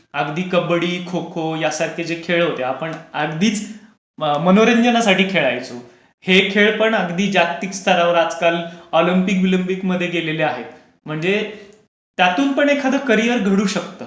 अगदी कब्बडी, खो खो, सारखे जे खेळ होते आपण अगदीच मनोरंजनासाठी खेळायचो. हे खेळ पण अगदी जागतिक स्तरावर आजकाल ऑलिंपिक, बिलिम्पिक मध्ये गेलेले आहेत म्हणजे त्यातून पण एखादा करियर घडू शकते.